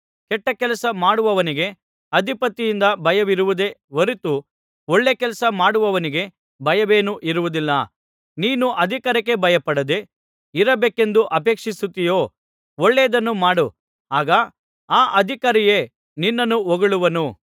ಕೆಟ್ಟಕೆಲಸ ಮಾಡುವವನಿಗೆ ಅಧಿಪತಿಯಿಂದ ಭಯವಿರುವುದೇ ಹೊರತು ಒಳ್ಳೆಕೆಲಸ ಮಾಡುವವನಿಗೆ ಭಯವೇನೂ ಇರುವುದಿಲ್ಲ ನೀನು ಅಧಿಕಾರಿಗೆ ಭಯಪಡದೇ ಇರಬೇಕೆಂದು ಅಪೇಕ್ಷಿಸುತ್ತೀಯೋ ಒಳ್ಳೆಯದನ್ನು ಮಾಡು ಆಗ ಆ ಅಧಿಕಾರಿಯೇ ನಿನ್ನನ್ನು ಹೊಗಳುವನು